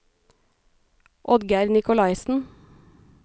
Oddgeir Nikolaisen